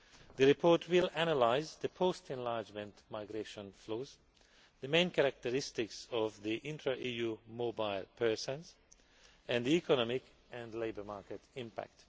The report will analyse the post enlargement migration flows, the main characteristics of the intra EU mobile persons, and the economic and labour market impact.